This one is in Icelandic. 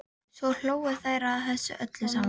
Svo hlógu þær að þessu öllu saman.